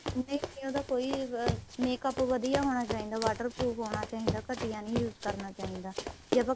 ਨਹੀਂ ਨਹੀਂ ਉਹਦਾ ਕੋਈ makeup ਵਧੀਆ ਹੋਣਾ ਚਾਹੀਦਾ water proof ਹੋਣਾ ਚਾਹੀਦਾ ਘੱਟੀਆਂ ਨਹੀਂ use ਕਰਨਾ ਚਾਹੀਦਾ ਜੇ ਆਪਾਂ